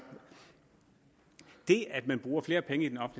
det at man bruger flere penge i den